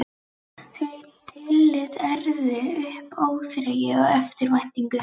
Þau tillit ærðu upp óþreyju og eftirvæntingu.